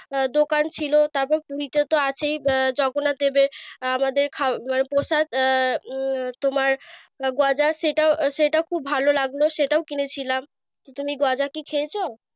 আহ দোকান ছিল তারপর মিঠা তো আছেই আহ জগন্নাথদেবের। আমাদের খাওয়া আহ মানে প্রসাদ আহ তোমার গজা সেটা সেটাও খুব ভালো লাগলো। সেটাও কিনেছিলাম, তুমি গজা কি খেয়েছো?